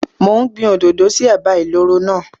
Mò ń gbin òdòdó sí ẹ̀bá ìloro náà.